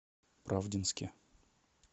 правдинске